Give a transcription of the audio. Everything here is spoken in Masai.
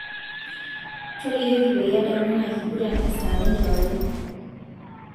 Tolikioki peyie adamu ina kiguran e saa are enkewarie